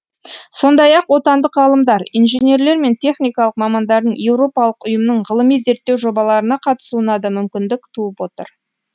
сондай ақ отандық ғалымдар инженерлер мен техникалық мамандардың еуропалық ұйымның ғылыми зерттеу жобаларына қатысуына да мүмкіндік туып отыр